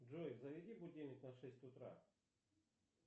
джой заведи будильник на шесть утра